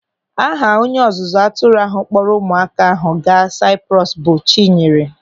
Aha onye ọzụzụ atụrụ ahụ kpọrọ ụmụaka ahụ gaa Saịprọs bụ Chinyere.